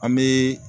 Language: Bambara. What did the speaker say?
An bɛ